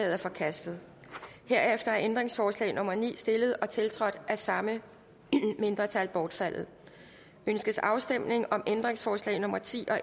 er forkastet herefter er ændringsforslag nummer ni stillet og tiltrådt af samme mindretal bortfaldet ønskes afstemning om ændringsforslag nummer ti og